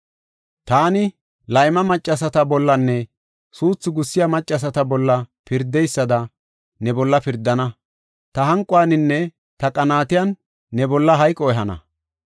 Taani layma maccasata bollanne suuthu gussiya maccasata bolla pirdeysada ne bolla pirdana; ta hanquwaninne ta qaanatiyan ne bolla hayqo ehana.